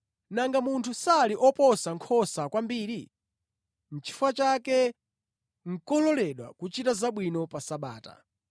Nanga munthu sali oposa nkhosa kwambiri! Chifukwa chake nʼkololedwa kuchita zabwino pa Sabata.”